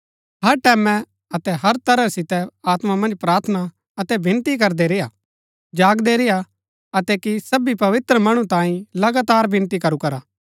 हर टैमैं अतै हर तरह सितै आत्मा मन्ज प्रार्थना अतै विनती करदै रेय्आ जागदै रेय्आ अतै कि सबी पवित्र मणु तांई लगातार विनती करू करा